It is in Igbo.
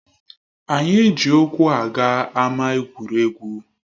Anyị eji ụkwụ aga ámá egwuregwu